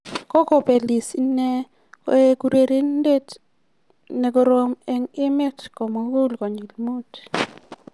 kogobelis inne koek urerenindet nekorom eng emet komugul konyil mut